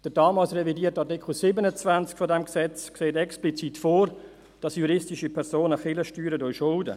Der damals revidierte Artikel 27 dieses Gesetzes sieht explizit vor, dass juristische Personen Kirchensteuern schulden.